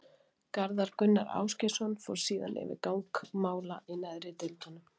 Garðar Gunnar Ásgeirsson fór síðan yfir gang mála í neðri deildunum.